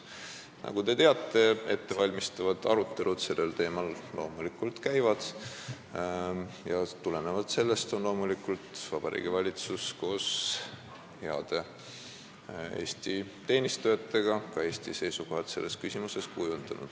Nagu te teate, käivad praegu ettevalmistavad arutelud, millest tulenevalt on loomulikult Vabariigi Valitsus koos heade Eesti teenistujatega kujundanud ka Eesti seisukohad selles küsimuses.